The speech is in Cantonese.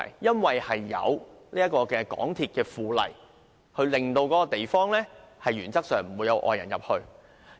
根據《香港鐵路附例》，石崗的範圍原則上沒有外界人士出入。